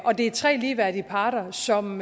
det er tre ligeværdige parter som